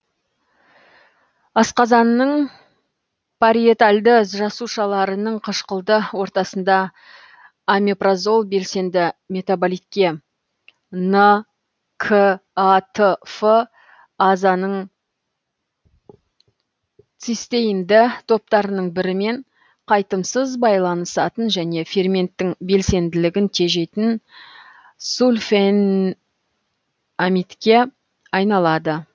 асқазанның париетальді жасушаларының қышқылды ортасында омепразол белсенді метаболитке н к атф азаның цистеинді топтарының бірімен қайтымсыз байланысатын және ферменттің белсенділігін тежейтін сульфенамидке айналады